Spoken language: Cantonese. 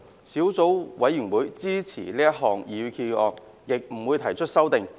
小組委員會支持這項擬議決議案，亦不會提出修正案。